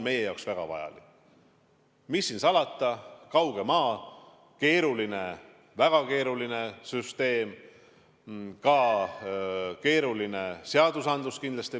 Mis siin salata, kauge maa, meie jaoks keeruline, väga keeruline süsteem, ka keeruline seadusandlus.